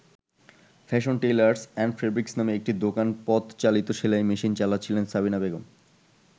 Fashion Tailors and Fabrics নামে একটি দোকানে পদ-চালিত সেলাই মেশিন চালাচ্ছিলেন সাবিনা বেগম।